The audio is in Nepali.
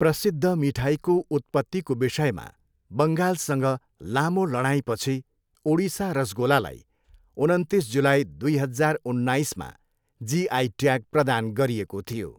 प्रसिद्ध मिठाईको उत्पत्तिको विषयमा बङ्गालसँग लामो लडाइँपछि ओडिसा रसगोलालाई उनन्तिस जुलाई, दुई हजार उन्नाइसमा जिआई ट्याग प्रदान गरिएको थियो।